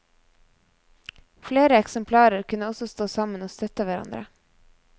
Flere eksemplarer kunne også stå sammen og støtte hverandre.